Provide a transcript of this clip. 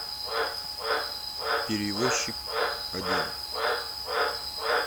перевозчик один